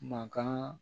Mankan